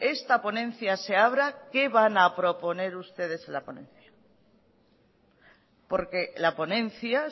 esta ponencia se abra qué van a proponer ustedes en la ponencia porque la ponencia